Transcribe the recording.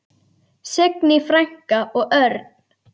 Signý frænka og Örn.